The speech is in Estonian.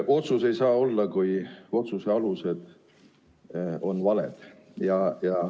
Otsust ei saa olla, kui otsuse alused on valed.